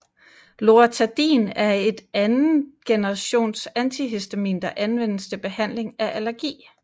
Loratadin er et anden generations antihistamin der anvendes til behandling af allergi